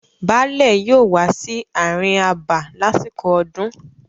Baálẹ̀ yóò wà sí àárín abà lásìkò ọdún.